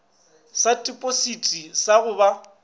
sa tipositi sa go ba